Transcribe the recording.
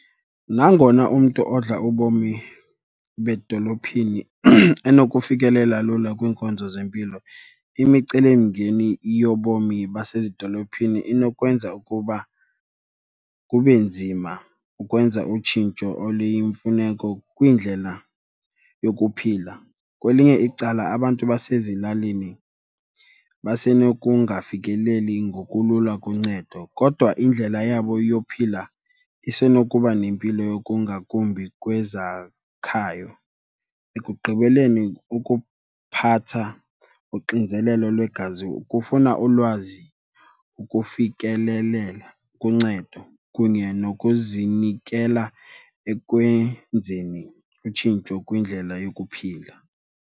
Nangona umntu odla ubomi bedolophini enokufikelela lula kwiinkonzo zempilo imicelimngeni yobomi basezidolophini inokwenza ukuba kube nzima ukwenza utshintsho oluyimfuneko kwindlela yokuphila. Kwelinye icala, abantu basezilalini basenokungafikeleli ngokulula kuncedo kodwa indlela yabo yophila isenokuba nempilo yokungakumbi kwezakhayo. Ekugqibeleni, ukuphatha uxinzelelo lwegazi kufuna ulwazi ukufikelelela kuncedo kunye nokuzinikela ekwenzeni utshintsho kwindlela yokuphila.